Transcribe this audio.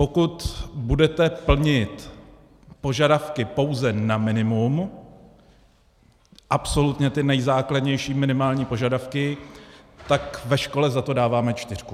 Pokud budete plnit požadavky pouze na minimum, absolutně ty nejzákladnější minimální požadavky, tak ve škole za to dáváme čtyřku.